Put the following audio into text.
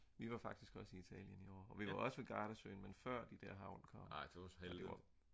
vi var faktisk også i Italien i år og vi var også ved gardasøen men før de der hagl kom og det var